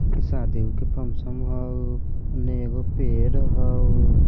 इ शादियों के फंक्शन हाऊ उने एगो पेड़ हाउ।